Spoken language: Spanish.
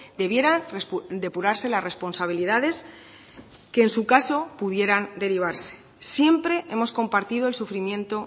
debieran depurarse las responsabilidades que en su caso pudieran derivarse siempre hemos compartido el sufrimiento